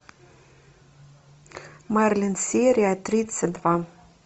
мерлин серия тридцать два